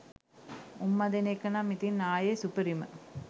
උම්මා දෙන එක නම් ඉතින් ආයේ සුපිරිම